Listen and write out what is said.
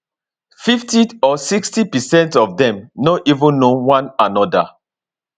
fifty or sixty percent of dem no even know one anoda